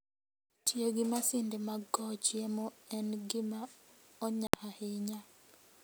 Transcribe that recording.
Tiyo gi masinde mag kowo chiemo en gima onya ahinya.